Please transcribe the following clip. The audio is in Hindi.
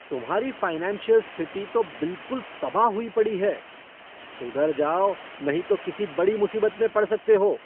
तुम्हारी फ़ाइनेंशियल स्थिति तो बिलकुल तबाह हुई पड़ी है! सुधर जाओ, नहीं तो किसी बड़ी मुसीबत में पड़ सकते हो।